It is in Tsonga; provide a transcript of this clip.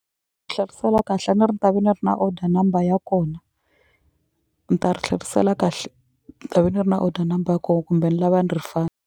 Tlherisela kahle a ni ri ta ve ni ri na order number ya kona ni ta ri tlherisela kahle ni ta ve ni ri na order number ko kumbe ni lava .